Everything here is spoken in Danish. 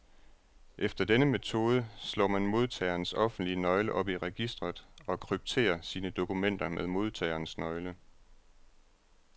Efter denne metode slår man modtagerens offentlige nøgle op i registret, og krypterer sine dokumenter med modtagerens nøgle.